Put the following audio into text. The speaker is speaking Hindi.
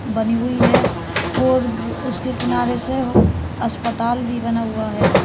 बनी हुई है और उसके किनारे से अस्पताल भी बना हुआ है।